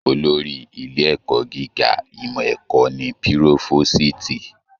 Olórí ilé ẹ̀kọ́ gíga ìmọ ẹ̀kọ́ ní Pirofositi.